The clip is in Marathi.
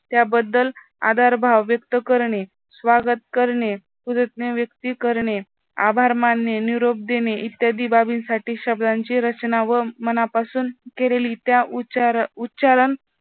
त्याबद्दल आदर भाव व्यक्त करणे, स्वागत करणे, व्यक्त करणे, आभार मानणे, निरोप देणे, इत्यादी बाबींसाठी शब्दांची रचना व मनापासून केलेली त्या उच्चार उच्चारण